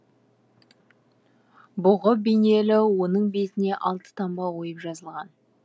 бұғы бейнелі оның бетіне алты таңба ойып жазылған